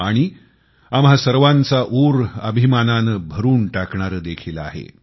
आणि आम्हा सर्वांचा ऊर अभिमानाने भरून टाकणारे देखील आहे